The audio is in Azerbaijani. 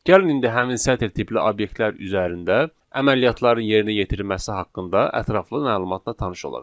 Gəlin indi həmin sətr tipli obyektlər üzərində əməliyyatların yerinə yetirilməsi haqqında ətraflı məlumatına tanış olaq.